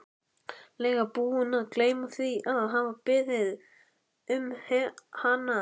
lega búinn að gleyma því að hafa beðið um hana.